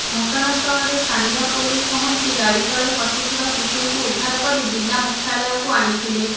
ଘଟଣା ସ୍ଥଳରେ ସ୍ଥାନୀୟ ପୋଲିସ ପହଞ୍ଚି ଗଡି ତଳେ ଫସିଥିବା ଶିଶୁଙ୍କୁ ଉଦ୍ଧାର କରି ଜିଲ୍ଲା ମୁଖ୍ୟାଳୟକୁ ଆଣିଥିଲେ